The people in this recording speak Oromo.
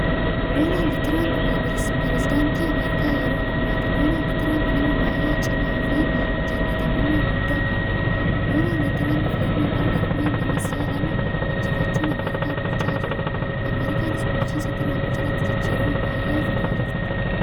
Doonaald Tiraamp Pireesidaantii Ameerikaa yeroo ammaati. Doonaald Tiraamp nama baay'ee cimaafi jaallatamummaa guddaa qabuudha. Doonaald Tiraamp filannoo bara darbeen nama si'a lama injifachuun Ameerikaa bulchaa jiruudha. Ameerikaanis bulchiinsa Tiraamp jalatti jijjirama baay'ee fidaa jirti.